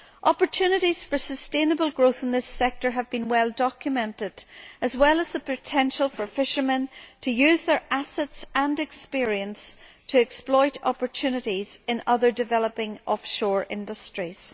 Opportunities for sustainable growth in this sector have been well documented, as well as the potential for fishermen to use their assets and experience to exploit opportunities in other developing offshore industries.